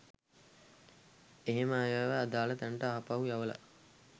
එහෙම අයව අදාළ තැනට ආපහු යවලා